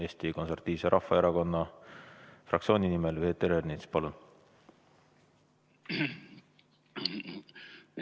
Eesti Konservatiivse Rahvaerakonna fraktsiooni nimel Peeter Ernits, palun!